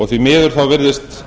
því miður virðist